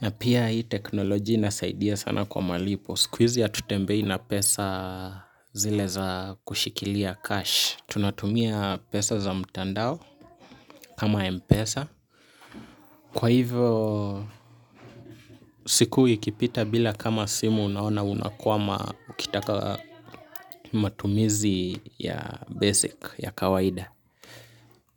na pia hii teknolojia inasaidia sana kwa malipo siku izi hatutembei na pesa zile za kushikilia cash tunatumia pesa za mtandao kama mpesa. Kwa hivyo siku ikipita bila kama simu unaona unakuwama ukitaka matumizi ya basic ya kawaida.